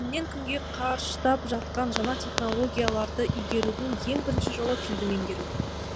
күннен күнге қарыштап жатқан жаңа технологияларды игерудің ең бірінші жолы тілді меңгеру